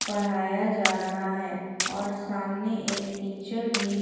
पढ़ाया जा रहा है और सामने एक टीचर भी--